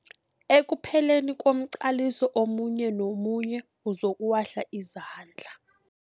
Ekupheleni komqaliso omunye nomunye uzokuwahla izandla.